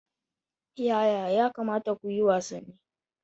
Yaya ya kamata ku yi wasanni?